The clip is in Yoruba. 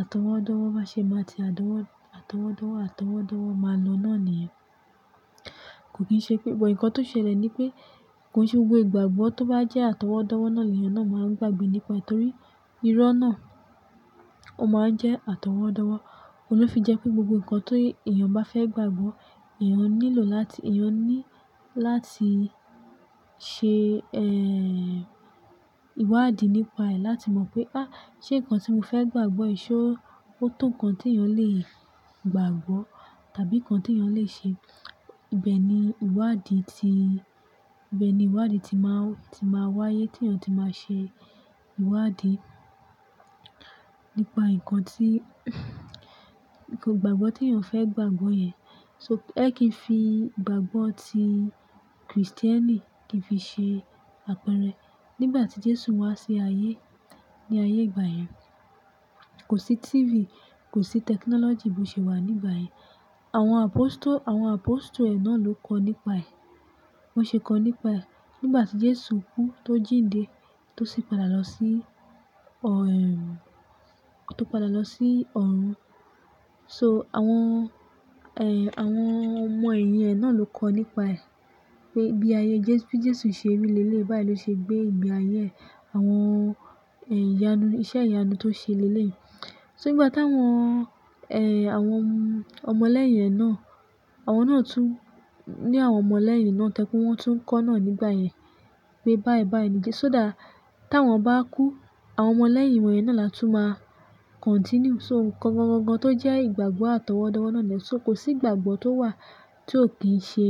àtọwọ́dọ́wọ́, má ṣe máa ti àtọwọ́, àtọwọ́dọ́wọ́, àtọwọ́dọ́wọ́ máa lọ náà nìyẹn. Kò kì í ṣe pé, ìtọ́ń ṣẹlẹ̀ ni pé, kò ṣe gbogbo ìgbàgbọ́ tó bá jẹ́ àtọwọ́dọ́wọ́ náà èèyàn náà máa ń gbàgbé nípa, torí irọ́ náà ó máa ń jẹ́ àtọwọ́dọ́wọ́. Olú fi jẹ́ pé gbogbo nǹkan tó èèyàn bá fẹ́ gbàgbọ́, èèyàn nílò láti, èèyàn ní láti ṣe, ẹ, ìwádìí nípa ẹ̀ láti mọ̀ pé, "Á, ṣé nǹkan tí mo fẹ́ gbàgbọ́ ìṣe ó tó ǹkan tí èèyàn lè gbàgbọ́ tàbí nǹkan tí èèyàn lè ṣe?" Ibẹ̀ ni ìwádìí ti, ibẹ̀ ni ìwádìí ti máa, ti máa wáyé tí èèyàn tí máa ṣe ìwádìí nípa nǹkan tí, nǹkan ìgbàgbọ́ tí èèyàn fẹ́ gbàgbọ́ yẹn. So ẹ́ kí n fi ìgbàgbọ́ ti Kristẹni kí n fi ṣe àpẹrẹ. Nígbà tí Jésù wá sí ayé, ní ayé ìgbà yẹn kò sí TV, kò sí technology bó ṣe wà nígbà yẹn. Àwọn apostle, àwọn apostle ẹ náà ló kọ nípa ẹ̀. Wọ́n ṣe kọ nípa ẹ̀. Nígbà tí Jésù kú tó jíǹde tó sì padà lọ sí ọ̀, ẹ, tó padà lọ sí ọ̀run. So àwọn, ẹ, àwọn ọmọ-ẹ̀yìn ẹ náà ló kọ nípa ẹ̀ pé bí ayé Jésù, bí Jésù ṣe rí lélelè, bá ì ló ṣe gbé ìgbéayé, àwọn, ẹ, ìyanu, iṣẹ́ ìyanu tó ṣe leléyìí So nígbà táwọn, ẹ, àwọn ọmọ ọlẹ́yìn ẹ náà, àwọn náà tún ní àwọn ọmọ ọlẹ́yìn ni náà tẹ́lẹ̀ pé wọ́n tún kọ́ náà nígbà yẹn pé báì báì ni Jésù dá. Tí àwọn bá kú, àwọn ọmọ ọlẹ́yìn wọ̀nyẹn náà la tún máa continue. So nǹkan gangan tó jẹ́ àìgbàgbọ́ àtọwọ́dọ́wọ́ náà lè so kò sí ìgbàgbọ́ tó wà tí ó kì í ṣe,